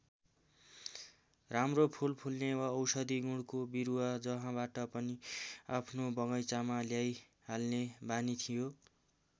राम्रो फूल फुल्ने वा औषधि गुणको बिरुवा जहाँबाट पनि आफ्नो बगैँचामा ल्याइहाल्ने बानी थियो।